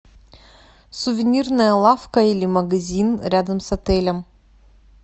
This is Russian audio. сувенирная лавка или магазин рядом с отелем